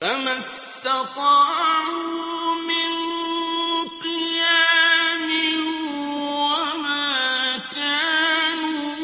فَمَا اسْتَطَاعُوا مِن قِيَامٍ وَمَا كَانُوا